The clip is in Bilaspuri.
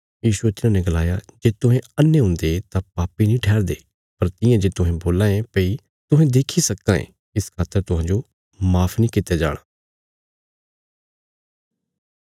यीशुये तिन्हांने गलाया जे तुहें अन्हे हुन्दे तां पापी नीं ठहरदे पर तियां जे तुहें बोल्लां ये भई तुहें देक्खी सक्कां ये इस खातर तुहांजो माफ नीं कित्या जाणा